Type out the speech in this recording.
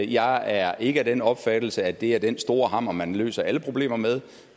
jeg er ikke af den opfattelse at det er den store hammer man løser alle problemer med